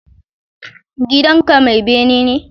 Gidanka mai bene ne?